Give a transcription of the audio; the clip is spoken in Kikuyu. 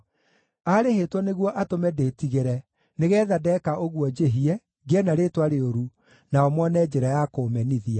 Aarĩhĩtwo nĩguo atũme ndĩtigĩre nĩgeetha ndeka ũguo njĩhie, ngĩe na rĩĩtwa rĩũru nao mone njĩra ya kũũmenithia.